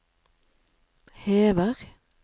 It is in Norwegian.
hever